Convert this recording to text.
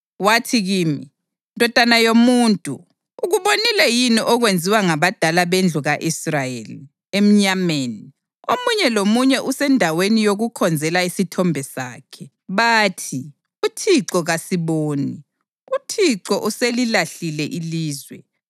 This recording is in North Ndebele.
Wathi kimi, “Ndodana yomuntu, ukubonile yini okwenziwa ngabadala bendlu ka-Israyeli emnyameni, omunye lomunye esendaweni yokukhonzela isithombe sakhe? Bathi, ‘ UThixo kasiboni; uThixo uselilahlile ilizwe.’ ”